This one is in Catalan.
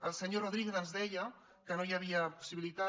el senyor rodríguez ens deia que no hi havia possibilitat